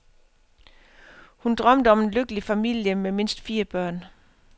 Hun drømmte om en lykkelig familie med mindst fire børn.